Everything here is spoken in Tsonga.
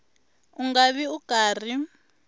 u nga vi u karhi